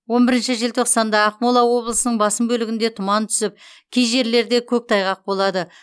он бірінші желтоқсанда ақмола облысының басым бөлігінде тұман түсіп кей жерлерде көктайғақ болады